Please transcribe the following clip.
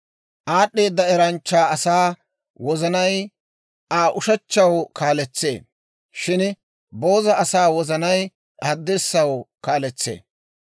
Aad'd'eeda eranchcha asaa wozanay Aa ushechchaw kaaletsee; shin booza asaa wozanay haddirssaw kaaletsee.